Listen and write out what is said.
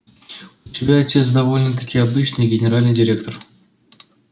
у тебя отец довольно-таки обычный генеральный директор